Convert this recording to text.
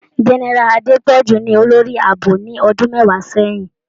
Génẹ́rà Adepọju ní olórí ààbò nì ọdún mẹwàá sẹyìn.